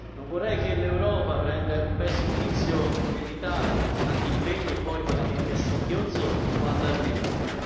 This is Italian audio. Non vorrei che l'Europa prendesse il pessimo vizio dell'Italia tanti impegni e poi pagamenti a singhiozzo, quando arrivano.